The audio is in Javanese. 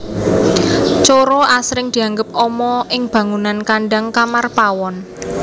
Coro asring dianggep ama ing bangunan kandhang kamar pawon